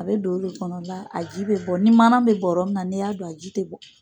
A be don o de kɔnɔ la, a ji be bɔ. Ni manan be bɔrɔ min na n'i y'a don a ji te bɔ.